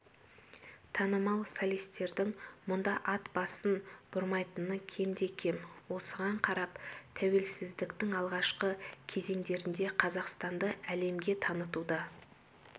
танымал солистердің мұнда ат басын бұрмайтыны кемде-кем осыған қарап тәуелсіздіктің алғашқы кезеңдерінде қазақстанды әлемге танытуда